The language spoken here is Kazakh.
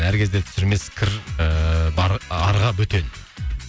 әр кезде түсірмес кір ыыы бар арға бөтен